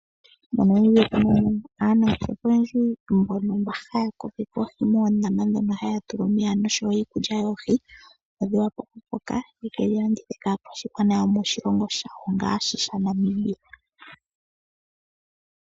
Monamibia otunamo aanangeshefa oyendji mbono haya kokeke oohi moondama dhono haya tula omeya noshowo iikulya yoohi opo dhi wape oku koka ye kedhi landithe kaakwashigwana yomoshilongo shawo ngaashi sha Namibia.